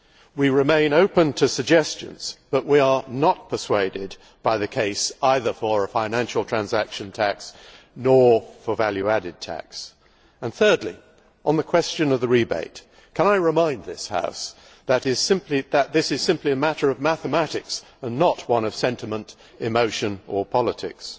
we remain open to suggestions, but we are not persuaded by the case either for a financial transaction tax or for value added tax. Thirdly, on the question of the rebate, can I remind this House that this is simply a matter of mathematics and not one of sentiment, emotion or politics.